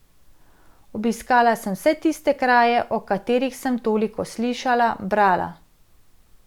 Obiskala sem vse tiste kraje, o katerih sem toliko slišala, brala.